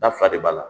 Da fila de b'a la